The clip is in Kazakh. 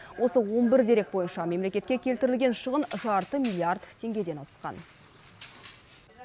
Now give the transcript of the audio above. осы он бір дерек бойынша мемлекетке келтірілген шығын жарты миллиард теңгеден асқан